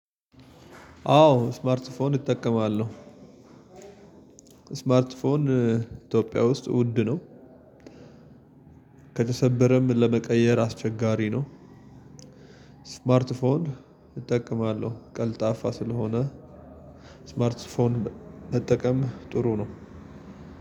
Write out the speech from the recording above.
አዎ ስማርት ፎን እጠቀማለሁ። ስማርት ፎን ኢትዮጵያ ውስጥ ውድ ነው። ከተሰበረም ለመቀየር አስቸጋሪ ነው። ስማርት ፎን እጠቀማለሁ ቀልጣፋ ስለሆነ። ስማርት ፎን መጠቀም ጥሩ ነው።